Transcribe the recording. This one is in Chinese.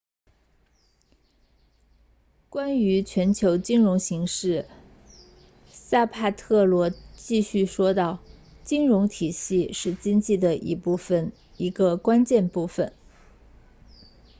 关于全球金融形势萨帕特罗继续说道金融体系是经济的一部分一个关键部分